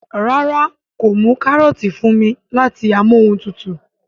ràrá kò mú karọọti fún mí láti Amóhuntutù